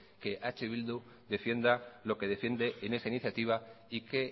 que eh bildu defienda lo que defiende en esa iniciativa y que